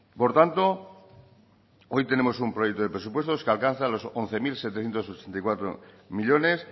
por tanto hoy tenemos un proyecto de presupuestos que alcanza los once mil setecientos ochenta y cuatro millónes